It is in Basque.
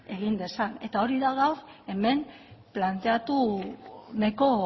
egin dezan eta hori da gaur hemen planteatu nahiko